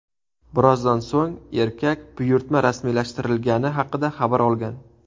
Birozdan so‘ng erkak buyurtma rasmiylashtirilgani haqida xabar olgan.